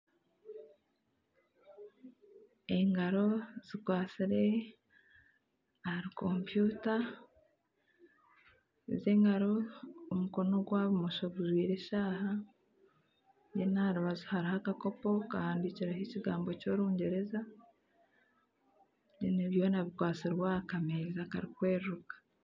Engaro zikwatsire ahari kompyuta ezo engaro omukono ogwa bumosho gujwaire eshaaha aha rubaju hariho akakopo kahandikireho ekigambo ky'orungyereza byona bikwatsize aha kameeza karikweruruka.